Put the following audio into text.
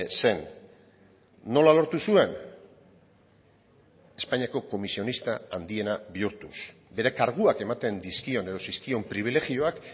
zen nola lortu zuen espainiako komisionista handiena bihurtuz bere karguak ematen dizkion edo zizkion pribilegioak